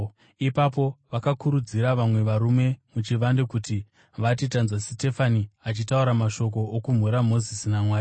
Ipapo vakakurudzira vamwe varume muchivande kuti vati, “Tanzwa Sitefani achitaura mashoko okumhura Mozisi naMwari.”